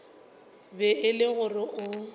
be e le gore o